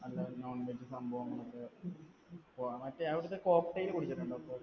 അല്ല non veg സംഭവങ്ങളൊക്കെ. മറ്റേ അവിടത്തെ cocktail കുടിച്ചിട്ടുണ്ടോ?